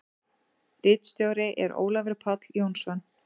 Ritstjóri er Ólafur Páll Jónsson.